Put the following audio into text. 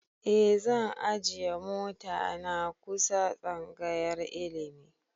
E zan ajiye mota na kusa tsangayar ilimi